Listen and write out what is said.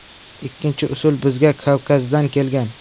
Ikkinchi usul bizga Kavkazdan kelgan.